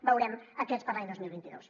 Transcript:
veurem aquests per a l’any dos mil vint dos